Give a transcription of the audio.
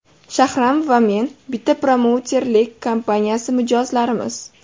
Shahram va men bitta promouterlik kompaniyasi mijozlarimiz.